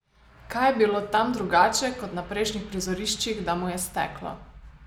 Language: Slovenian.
Kaj je bilo tam drugače kot na prejšnjih prizoriščih, da mu je steklo?